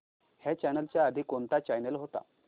ह्या चॅनल च्या आधी कोणता चॅनल होता